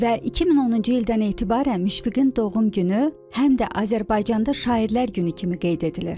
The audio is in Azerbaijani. Və 2010-cu ildən etibarən Müşfiqin doğum günü həm də Azərbaycanda şairlər günü kimi qeyd edilir.